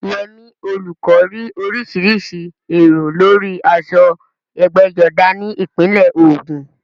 Yemi, olùkọ́, rí oríṣiríṣi èrò lórí aṣọ ẹgbẹ́jọdá ní ìpínlẹ̀ Ògùn.